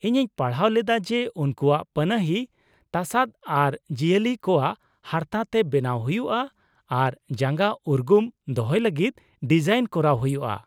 ᱤᱧᱤᱧ ᱯᱟᱲᱦᱟᱣ ᱞᱮᱫᱟ ᱡᱮ ᱩᱱᱠᱩᱣᱟᱜ ᱯᱟᱱᱟᱦᱤ ᱛᱟᱥᱟᱫ ᱟᱨ ᱡᱤᱭᱟᱹᱞᱤ ᱠᱚᱣᱟᱜ ᱦᱟᱨᱛᱟ ᱛᱮ ᱵᱮᱱᱟᱣ ᱦᱩᱭᱩᱜᱼᱟ ᱟᱨ ᱡᱟᱸᱜᱟ ᱩᱨᱜᱩᱢ ᱫᱚᱦᱚᱭ ᱞᱟᱹᱜᱤᱫ ᱰᱤᱡᱟᱭᱤᱱ ᱠᱚᱨᱟᱣ ᱦᱩᱭᱩᱜᱼᱟ ᱾